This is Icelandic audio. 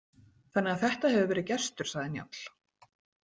Þannig að þetta hefur verið gestur, sagði Njáll.